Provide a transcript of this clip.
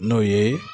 N'o ye